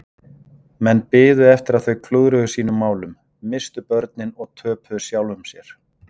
Menn biðu eftir að þau klúðruðu sínum málum, misstu börnin og töpuðu sjálfum sér.